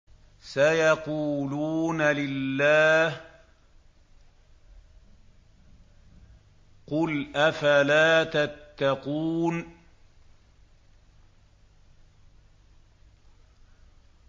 سَيَقُولُونَ لِلَّهِ ۚ قُلْ أَفَلَا تَتَّقُونَ